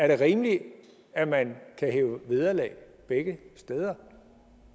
det er rimeligt at man kan hæve vederlag begge steder